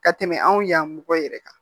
Ka tɛmɛ anw ya mɔgɔ yɛrɛ kan